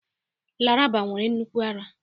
Laraba nwere nnukwu ara